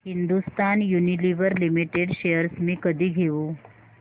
Hindustan Unilever limited shares मी कधी घेऊ